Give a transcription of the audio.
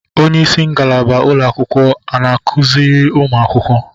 onyeisi ngalaba ụlọakwụkwọ ana akuzịrị ụmụ akwụkwọ?